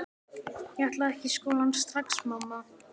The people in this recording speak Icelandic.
Ég ætla ekki í skólann strax, mamma!